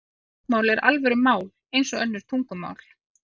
Táknmál er alvöru mál eins og önnur tungumál.